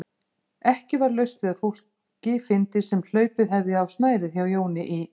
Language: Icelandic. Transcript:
Ekki var laust við að fólki fyndist sem hlaupið hefði á snærið hjá Jóni í